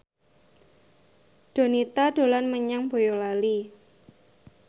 Donita dolan menyang Boyolali